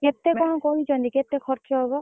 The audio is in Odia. କେତେ କଣ କହିଛନ୍ତି କେତେ ଖର୍ଚ୍ଚ ହବ?